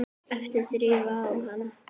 æpti Drífa á hana.